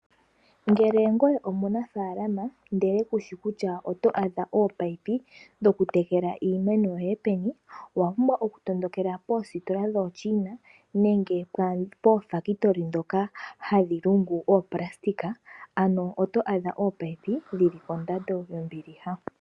Ngele ngoye omunafaalama ndele kushi kutya oto adha omunino dho kutekela iimeno yoye peni, owa pumbwa oku tondokela poositola dhoochina, nenge poofakitoli ndhoka hadhi lungu oopulasitika, oto adha ominino dhili kondando yombiliha.